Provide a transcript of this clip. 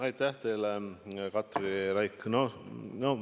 Aitäh teile, Katri Raik!